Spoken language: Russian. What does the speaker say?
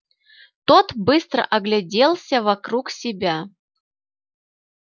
тот быстро огляделся вокруг себя